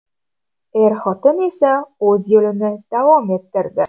Er-xotin esa o‘z yo‘lini davom ettirdi.